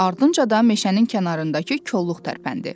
Ardınca da meşənin kənarındakı kolluq tərpəndi.